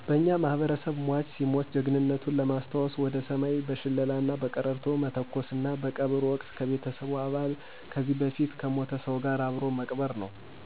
በእኛ ማህበረሰብ ሟች ሲሞት ጀግንነቱን ለማሰታወሰ ወደ ሰማይ በሸለላና በቀረርቶ መተኮሰና በቀብር ወቅት ከቤተሰቡ አባል ከዚህ በፊት ከሞተ ሰው ጋር አብሮ መቅበር ነው።